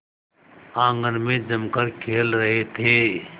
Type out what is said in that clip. आंगन में जमकर खेल रहे थे